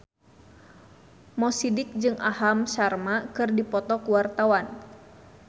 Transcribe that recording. Mo Sidik jeung Aham Sharma keur dipoto ku wartawan